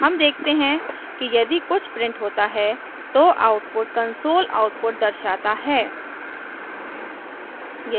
हम देखते हैं कि यदि कुछ printed होता है तो output console output दर्शाता है